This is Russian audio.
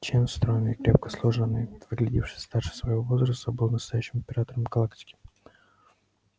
чен стройный и крепко сложенный выглядевший старше своего возраста был настоящим императором галактики